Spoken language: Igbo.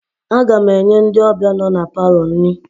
Aga m enye ndị ọbịa nọ na palọ nri